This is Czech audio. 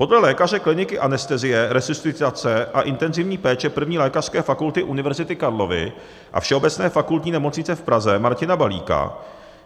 Podle lékaře kliniky anestezie, resuscitace a intenzivní péče 1. lékařské fakulty Univerzity Karlovy a Všeobecné fakultní nemocnice v Praze Martina Balíka